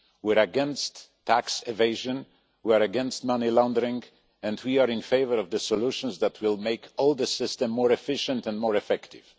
We are against tax evasion, we are against money laundering, and we are in favour of solutions that will make the whole system more efficient and more effective.